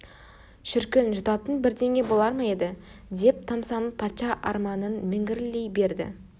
шіркін жұтатын бірдеңе болар ма еді деп тамсанып патша арманын міңгірлей берді